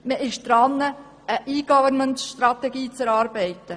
Man ist dabei, eine E-Government-Strategie zu erarbeiten.